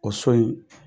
O so in